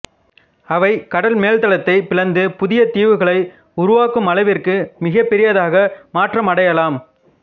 அவை கடல் மேல்தளத்தைப் பிளந்து புதிய தீவுகளை உருவாக்குமளவிற்கு மிகப்பெரியதாக மாற்றமடையலாம்